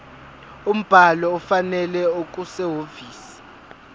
umbhalo ofanele okusehhovisi